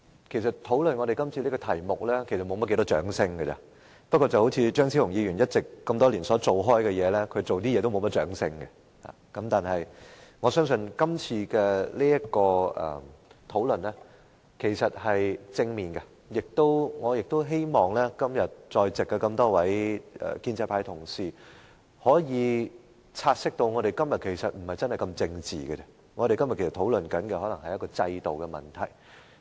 其實，討論今天這議題是不會獲得多少掌聲的，但正如張超雄議員多年來的工作般，他所做的事情也不會獲得很多掌聲，但我相信今天這項討論是正面的，亦希望今天在席的建制派議員，可以察悉我們今天的討論並不是很政治化，而是想討論制度的問題。